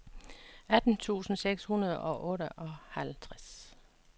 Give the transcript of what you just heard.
atten tusind seks hundrede og otteoghalvtreds